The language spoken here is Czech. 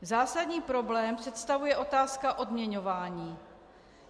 Zásadní problém představuje otázka odměňování.